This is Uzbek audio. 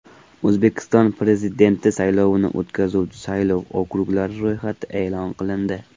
O‘zbekiston Prezidenti saylovini o‘tkazuvchi saylov okruglari ro‘yxati e’lon qilindi.